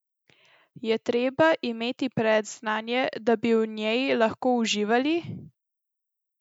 Je treba imeti predznanje, da bi v njej lahko uživali?